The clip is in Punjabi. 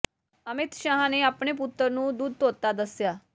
ਅਮਿਤ ਸ਼ਾਹ ਨੇ ਆਪਣੇ ਪੁੱਤਰ ਨੂੰ ਦੁੱਧ ਧੋਤਾ ਦੱਸਿਆ